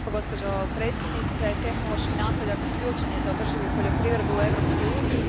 Gospođo predsjednice, tehnološki napredak ključan je za održivu poljoprivredu u Europskoj uniji.